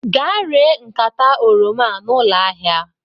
Gaa ree nkata oroma a na ụlọ ahịa!